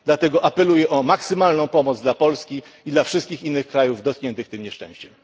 Dlatego apeluję o maksymalną pomoc dla Polski i dla wszystkich innych krajów dotkniętych tym nieszczęściem.